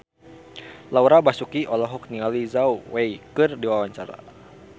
Laura Basuki olohok ningali Zhao Wei keur diwawancara